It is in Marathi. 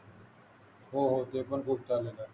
हो हो ते पण खूपदा आलेल आहे